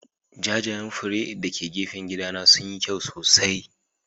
Jajayen fure???????? dake gefen gidana sunyi kyau sosai.